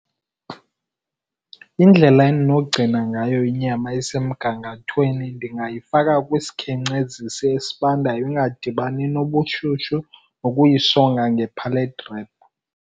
Indlela endinogcina ngayo inyama isemgangathweni ndingayifaka kwisikhenkcezisi esibandayo ingadibani nobushushu, nokuyisonga nge-pallet wrap.